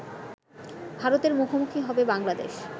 ভারতের মুখোমুখি হবে বাংলাদেশ